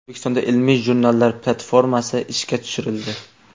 O‘zbekistonda ilmiy jurnallar platformasi ishga tushirildi.